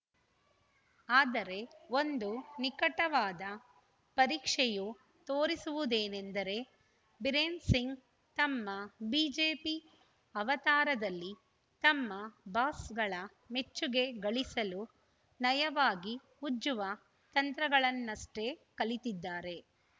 ಆದರೆ ಒಂದು ನಿಕಟವಾದ ಪರೀಕ್ಷೆಯು ತೋರಿಸುವುದೇನೆಂದರೆ ಬಿರೇನ್‌ ಸಿಂಗ್‌ ತಮ್ಮ ಬಿಜೆಪಿ ಅವತಾರದಲ್ಲಿ ತಮ್ಮ ಬಾಸ್‌ಗಳ ಮೆಚ್ಚುಗೆ ಗಳಿಸಲು ನಯವಾಗಿ ಉಜ್ಜುವ ತಂತ್ರಗಳನ್ನಷ್ಟೇ ಕಲಿತಿದ್ದಾರೆ